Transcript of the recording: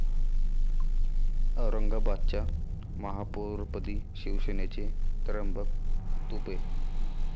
औरंगाबादच्या महापौरपदी शिवसेनेचे त्र्यंबक तुपे